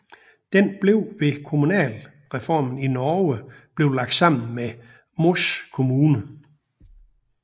Den blev ved kommunalreformen i Norge blev lagt sammen med Moss kommune